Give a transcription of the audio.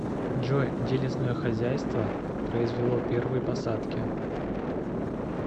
джой где лесное хозяйство произвело первые посадки